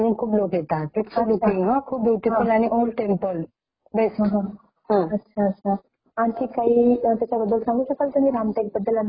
रामटेक मध्ये गढ मंदिर आहेत . तिथले हे वैशिष्ट्य आहे कि तिथे खूप माकड असतात . जास्त प्रमाणात तिथे माकड पाहायला मिळतात पण तिथलं जे नैसर्गिक दृश्य आहे तिथे